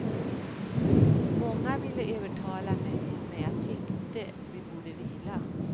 Många ville övertala mig men jag tyckte vi borde vila.